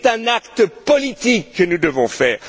C'est un acte politique que nous devons faire.